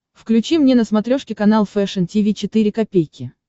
включи мне на смотрешке канал фэшн ти ви четыре ка